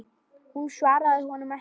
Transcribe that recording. Hún svaraði honum ekki.